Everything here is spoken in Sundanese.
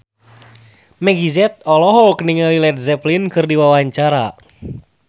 Meggie Z olohok ningali Led Zeppelin keur diwawancara